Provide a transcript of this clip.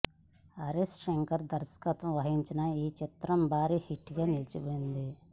హరీష్ శంకర్ దర్శకత్వం వహించిన ఈ చిత్రం భారీ హిట్ గా నిలిచింది